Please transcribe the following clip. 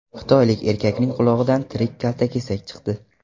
Xitoylik erkakning qulog‘idan tirik kaltakesak chiqdi.